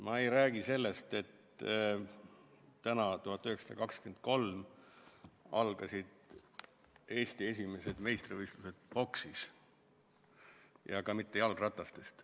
Ma ei räägi sellest, et täna 1923. aastal algasid Eesti esimesed meistrivõistlused poksis, ja ka mitte jalgratastest.